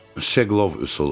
Şeqlov üsulu.